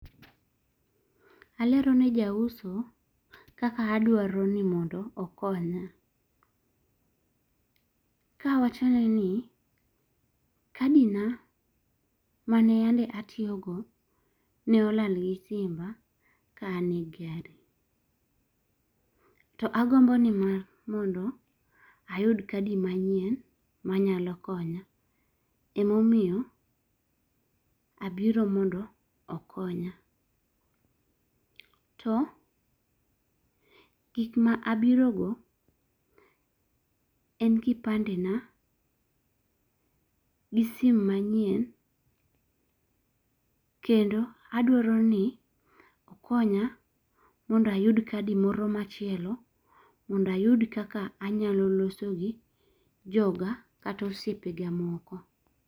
Alero ne jauso kaka adwaro ni mondo okonya. Kawachone ni kadi na mane yandi atiyogo ne olal gi simba ka an e gari. To agombo ni mondo ayud kadi manyien manyalo konya emamoyo abiro mondo okonya. To gik ma abiro go en kipande na gi sim manyien kendo adwaro ni okonya mondo ayud kadi moro machielo mond ayud kaka anyalo loso gi joga kata osiepe ga moko.